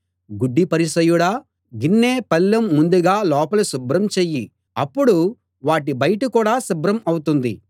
గుడ్డి పరిసయ్యుడా గిన్నె పళ్ళెం ముందుగా లోపల శుభ్రం చెయ్యి అప్పుడు వాటి బయట కూడా శుభ్రం అవుతుంది